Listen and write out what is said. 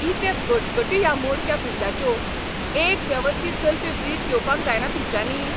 कितें कटकटी ह्या मोडक्या फ्रिजाच्यो. एक वेवस्थीत चलपी फ्रीज घेवपाक जायना तुमच्यांनी?